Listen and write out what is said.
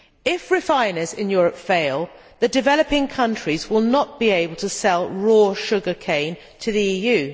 If refiners in Europe fail, the developing countries will not be able to sell raw sugar cane to the EU.